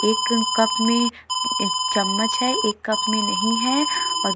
एक कप में एक चम्मच है एक कप में नहीं है और --